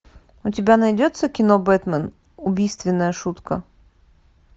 у тебя найдется кино бэтмен убийственная шутка